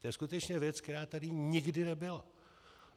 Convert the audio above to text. To je skutečně věc, která tady nikdy nebyla.